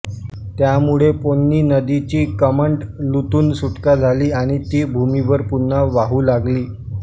त्यामुळे पोन्नि नदीची कमंडलूतून सुटका झाली आणि ती भूमिवर पुन्हा वाहू लागली